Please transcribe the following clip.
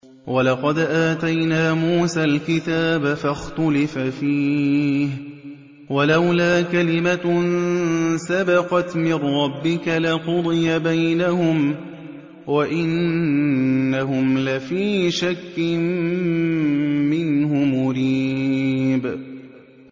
وَلَقَدْ آتَيْنَا مُوسَى الْكِتَابَ فَاخْتُلِفَ فِيهِ ۚ وَلَوْلَا كَلِمَةٌ سَبَقَتْ مِن رَّبِّكَ لَقُضِيَ بَيْنَهُمْ ۚ وَإِنَّهُمْ لَفِي شَكٍّ مِّنْهُ مُرِيبٍ